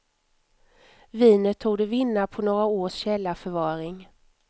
Vinet torde vinna på några års källarförvaring.